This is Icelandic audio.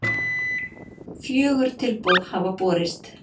Fjögur tilboð hafa borist